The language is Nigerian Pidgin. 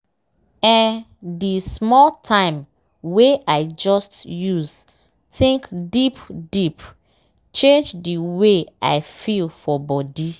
eeh di small time wey i just use think deep deep change di wey i feel for body.